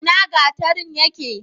ina gatarin yake?